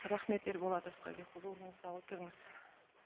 рахмет ерболат асқарбекұлы орныңызға отырыңыз